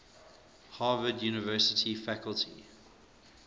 harvard university faculty